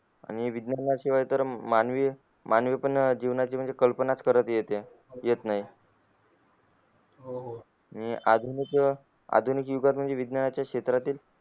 आणि विज्ञाना शिवाय तर मानवी मानवी पण जीवनाची म्हणजे कल्पना च करता येते करता येत नाही हो हो आणि आधुनिक युगातील विद्वांच्या क्षेत्रा तील